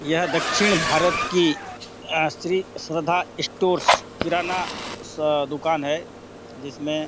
यह दक्षिण भारत की अ श्री श्रद्धा स्टोर्स किराना दुकान है जिसमें --